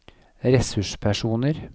ressurspersoner